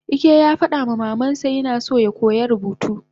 Ike yafadama mamansa yina so yakoya rubutu